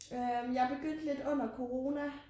Øh jeg begyndte lidt under corona